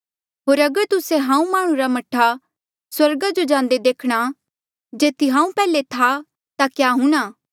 होर अगर तुस्से हांऊँ माह्णुं रा मह्ठा स्वर्ग जांदे देखणा जेथी हांऊँ पैहले था ता क्या हूंणा